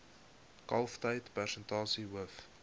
kalftyd persentasie hoof